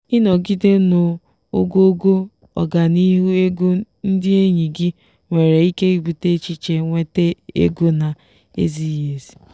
ịnọgide n'ogogo ọganihu ego ndị enyi gị nwere ike ibute echiche nwete ego na-ezighị ezi.